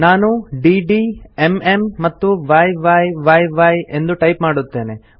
ನಾನು DD MM ಮತ್ತು YY ಎಂದು ಟೈಪ್ ಮಾಡುತ್ತೇನೆ